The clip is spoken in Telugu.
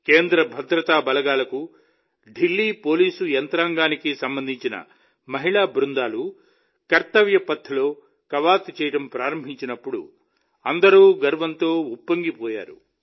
కేంద్ర భద్రతా బలగాలకు ఢిల్లీ పోలీసు యంత్రాంగానికి చెందిన మహిళా బృందాలు కర్తవ్య పథ్ లో కవాతు చేయడం ప్రారంభించినప్పుడు అందరూ గర్వంతో ఉప్పొంగిపోయారు